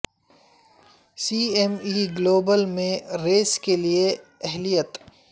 سی M E global میں race کے لئے اہلیت